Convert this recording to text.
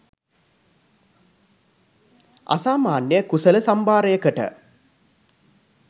අසාමාන්‍ය කුසල සම්භාරයකට